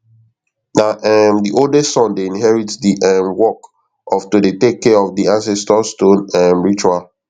na um di oldest son dey inherit di um work of to dey take care of di ancestor stone um ritual